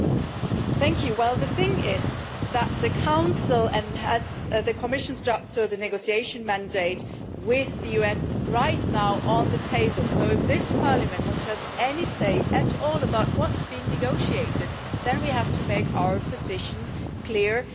Mr President, the thing is that the Council has the Commission's draft for the negotiation mandate with the US right now on the table, so if this Parliament wants to have any say at all about what's being negotiated then we have to make our position clear now.